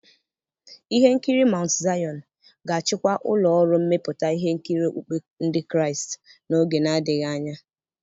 Ihe nkiri Maụntụ Zaịọn ga-achịkwa ụlọ ọrụ mmepụta ihe nkiri okpukpe Ndị Kraịst n'oge na-adịghị anya.